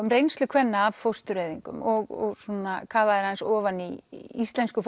um reynslu kvenna af fóstureyðingum og svona kafaðir aðeins ofan í íslensku